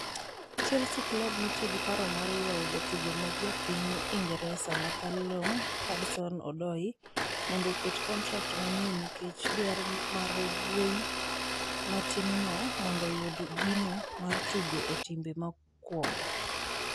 Chelsea klab nitie gi pek mar ywayo jatugo ma ja piny Ingresa ma Callum Hudson Odoi mondo oket kontrak manyien nikech dwaro mar wuoyi matinno mondo oyud gino mar tugo e timbe mokuongo.